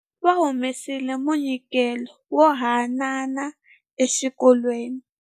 Va humesile munyikelo wo hanana exikolweni.